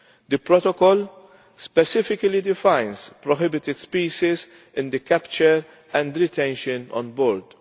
The protocol specifically defines prohibited species in relation to capture and retention on board.